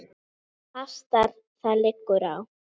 Það hastar: það liggur á.